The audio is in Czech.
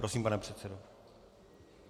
Prosím, pane předsedo.